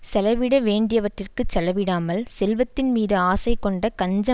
செலவிட வேண்டியவற்றிற்குச் செலவிடாமல் செல்வத்தின் மீது ஆசை கொண்ட கஞ்ச